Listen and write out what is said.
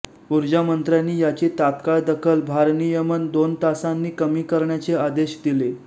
ऊर्जामंत्र्यांनी याची तात्काळ दखल भारनियमन दोन तासांनी कमी करण्याचे आदेश दिले